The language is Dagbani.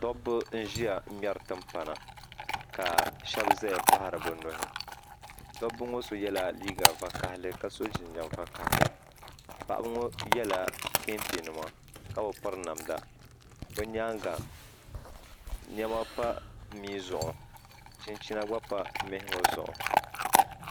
Dobba n-ʒiya ŋmɛri timpana ka shɛba zaya kpahiri bɛ nuhi dobba ŋɔ so yela liiga vakahili ka so jinjam vakahili paɣiba ŋɔ yela kentenima ka bi piri namda bɛ nyaaŋa nɛma pa mia zuɣu chinchina gba pa mihi ŋɔ zuɣu.